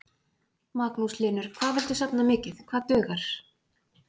Magnús Hlynur: Hvað villt þú safna mikið, hvað dugar?